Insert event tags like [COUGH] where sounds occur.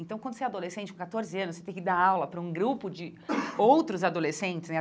Então, quando você é adolescente, com catorze anos, você tem que dar aula para um grupo de [COUGHS] outros adolescentes, né?